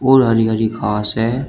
और हरी हरी घास है।